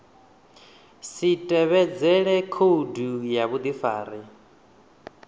si tevhedzele khoudu ya vhudifari